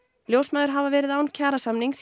ljósmæður hafa verið án kjarasamnings